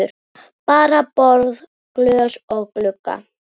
Bara borð, glös og glugga.